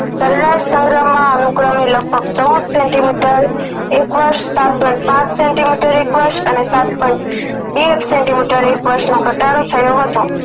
સરેરાશ સગરામ માં અનુક્રમે લગભગ ચૌદ સેન્ટિમીટર એક વર્ષ સાત પોઈન્ટ પાંચ સેન્ટિમીટર એક વર્ષ અને સાત પોઈન્ટ બે એક વર્ષ નો ઘટાડો થયો હતો